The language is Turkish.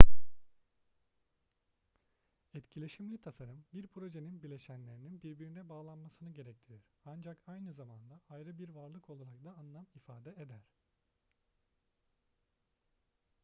etkileşimli tasarım bir projenin bileşenlerinin birbirine bağlanmasını gerektirir ancak aynı zamanda ayrı bir varlık olarak da anlam ifade eder